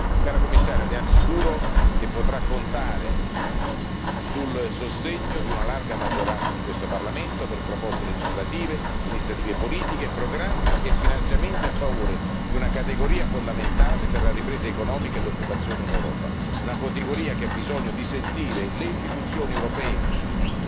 Cara Commissaria, le assicuro che potrà contare sul sostegno di una larga maggioranza di questo Parlamento per proposte legislative, iniziative politiche, programmi e finanziamenti a favore di una categoria fondamentale per la ripresa economica e l'occupazione in Europa, una categoria che ha bisogno di sentire le istituzioni europee vicine.